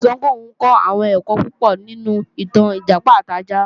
Báyọ̀ sọ pé òun kọ́ àwọn ẹ̀kọ́ púpọ̀ nínú ìtàn Ìjàpá àti ajá